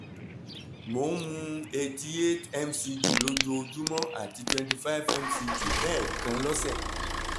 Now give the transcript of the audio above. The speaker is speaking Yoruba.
mo ń mu eighty eight mcg lójoojúmọ́ àti twenty five mcg lẹ́ẹ̀kan lósẹ̀